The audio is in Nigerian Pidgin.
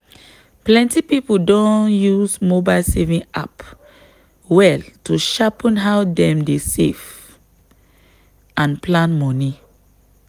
plenty people don use mobile saving app well to sharpen how dem dey save and plan money.